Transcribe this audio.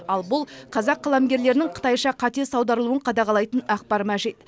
ал бұл қазақ қаламгерлерінің қытайша қатесіз аударылуын қадағалайтын ақпар мәжит